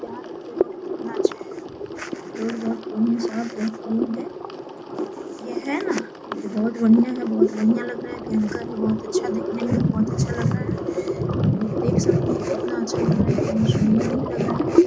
यहाँ देखिये रोड कितना अच्छा है। रोड बहुत है। यह है ना यह बहुत बढियां है। बहुत बढियां लग रहा है। भयंकर है बहुत अच्छा दिखने में भी बहुत अच्छा लग रहा है। आपलोग देख सकते है। कितना अच्छा लग रहा है। बहुत सुंदर भी लग रहा है।